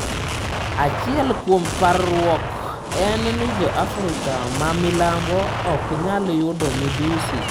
Achiel kuom parruok en ni jo Afrika ma Milambo ok nyal yudo midhusi.